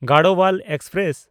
Garhwal express